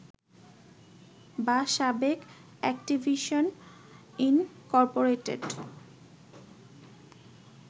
বা সাবেক Activision Incorporated